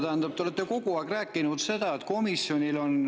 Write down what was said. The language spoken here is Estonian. Te olete kogu aeg rääkinud, et komisjonidel on …